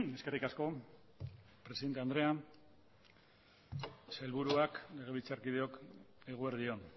eskerrik asko presidente andrea sailburuak legebiltzarkideok eguerdi on